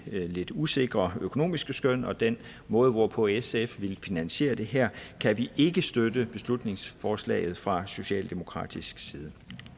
lidt usikre økonomiske skøn og den måde hvorpå sf vil finansiere det her kan vi ikke støtte beslutningsforslaget fra socialdemokratisk side